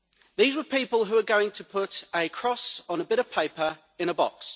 These were people who were going to put a cross on a bit of paper in a box.